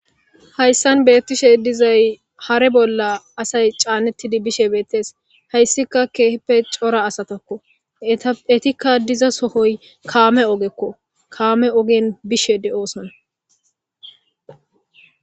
Hayssan beettishe dizay hare bolla asay caannettidi bishe beettees hayssika keeppe cora asatakko etikka diza sohoy kaame ogekko kaame ogen bishe de'oosona.